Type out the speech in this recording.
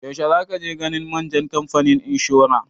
Yaushe za ka je ganin manjan kamfanin inshora?